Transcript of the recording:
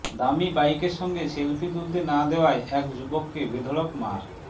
দামি বাইকের সঙ্গে সেলফি তুলতে না দেওয়ায় এক যুবককে বেধড়ক মার